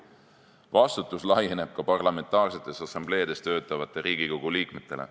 Vastutus laieneb ka parlamentaarsetes assambleedes töötavatele Riigikogu liikmetele.